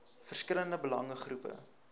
verskillende belange groepe